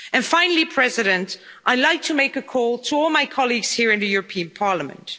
Finally, I would I like to make a call to all my colleagues here in the European Parliament.